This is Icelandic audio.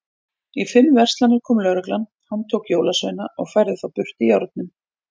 Í fimm verslanir kom lögreglan, handtók jólasveina og færði þá burt í járnum.